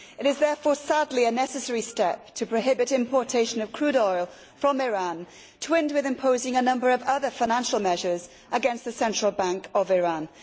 It is therefore, sadly, a necessary step to prohibit the importation of crude oil from Iran, twinned with imposing a number of other financial measures against the Central Bank of Iran.